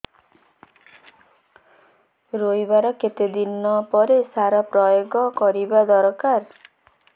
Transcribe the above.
ରୋଈବା ର କେତେ ଦିନ ପରେ ସାର ପ୍ରୋୟାଗ କରିବା ଦରକାର